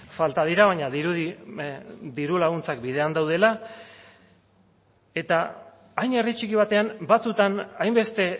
falta dira baina dirudi diru laguntzak bidean daudela eta hain herri txiki batean batzutan hainbeste